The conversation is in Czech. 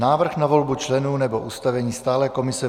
Návrh na volbu členů nebo ustavení stálé komise